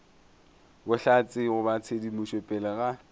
bohlatse goba tshedimošo pele ga